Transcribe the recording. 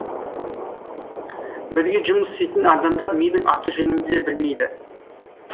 бірге жұмыс істейтін адамдар менің аты жөнімді де білмейді